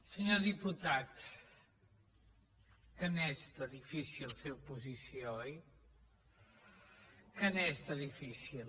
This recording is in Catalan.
senyor diputat que n’és de difícil fer oposició oi que n’és de difícil